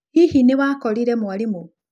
Hihi nĩ wakorire mwarimũ?